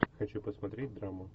хочу посмотреть драму